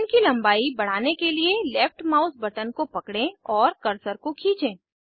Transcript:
chain की लम्बाई बढ़ाने के लिए लेफ्ट माउस बटन को पकड़ें और कर्सर को खींचें